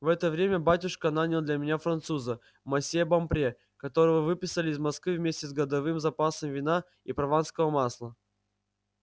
в это время батюшка нанял для меня француза мосье бопре которого выписали из москвы вместе с годовым запасом вина и прованского масла